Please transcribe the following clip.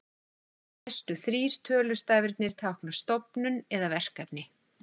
Næstu þrír tölustafirnir tákna stofnun eða verkefni.